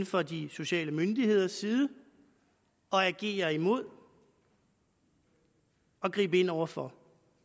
fra de sociale myndigheders side at agere imod og gribe ind over for